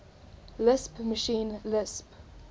lisp machine lisp